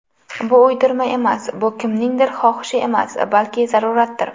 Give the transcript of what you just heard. Bu uydirma emas, bu kimningdir xohishi emas, balki zaruratdir.